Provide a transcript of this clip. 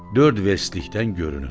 Dörd vestlikdən görünür.